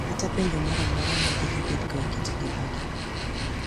Kata penjo moro amora ma de gibedgo e kit ngimagi.